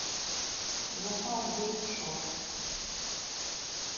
запар вэйп шоп